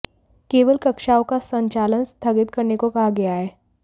केवल कक्षाओं का संचालन स्थगित करने को कहा गया है